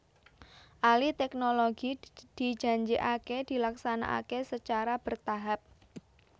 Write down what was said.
Alih teknologi dijanjikaké dilaksanaké sacara bertahap